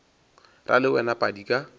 ra le wena padi ka